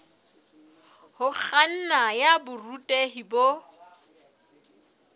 ho kganna ya borutehi bo